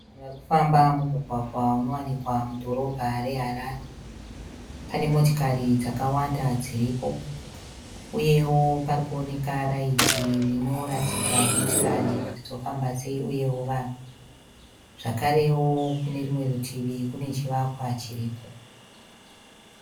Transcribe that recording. Vanhu varikufamba mumugwagwa unowanikwa mudhorobha reHarare. Pane motikari dzakawanda dziripo, uyewo parikuoneka raiti rinoratidza motikari kuti dzofamba sei uyewo vanhu. Zvakarewo kunerumwe rutivi kune chivakwa chiriko.